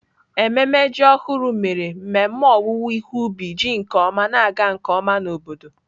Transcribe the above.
Ememe ji ọhụrụ mere mmemme owuwe ihe ubi ji nke ọma na-aga nke ọma na obodo.